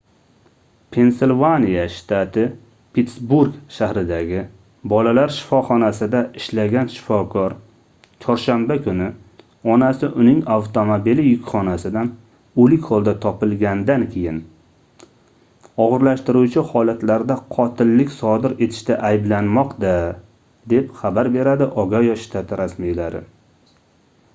pensilvaniya shtati pittsburg shahridagi bolalar shifoxonasida ishlagan shifokor chorshanba kuni onasi uning avtomobili yukxonasidan oʻlik holda topilgandan keyin ogʻirlashtiruvchi holatlarda qotillik sodir etishda ayblanmoqda deb xabar beradi ogayo shtati rasmiylari